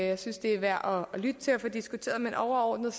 jeg synes det er værd at lytte til og få diskuteret men overordnet